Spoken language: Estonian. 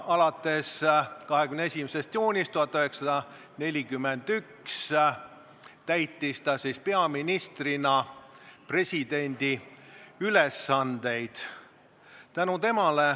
Alates 21. juunist 1941 täitis ta peaministrina presidendi ülesandeid.